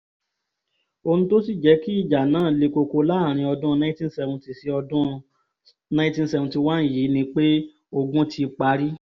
ohun tó sì jẹ́ kí ìjà náà le koko láàrin ọdún 1970 sí 1971 yìí ni pé ogun ti parí